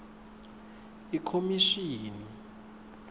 ikhomishini